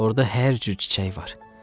Orda hər cür çiçək var.